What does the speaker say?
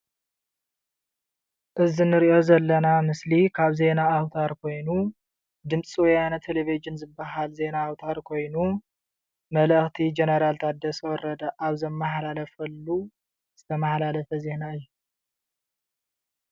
እዚ ንሪኦ ዘለና ምስሊ ካብ ዜና ኣውታር ኮይኑ ድምፂ ወያነ ቴለቭዥን ዝበሃል ዜና አዉታር ኮይኑ መልእክቲ ጀነራል ታደሰ ወረደ ዘመሓላለፎ መልእኽቲ ዝተመሓላለፈ ዜና እዪ።